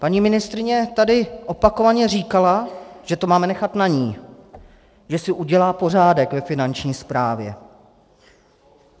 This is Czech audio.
Paní ministryně tady opakovaně říkala, že to máme nechat na ní, že si udělá pořádek ve Finanční správě.